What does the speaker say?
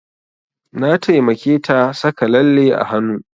Na taimake ta saka lalle a hanu